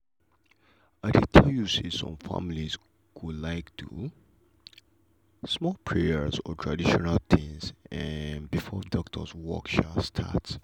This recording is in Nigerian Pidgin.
i dey tell you some families go like do small prayer or traditional things um before doctor work um start.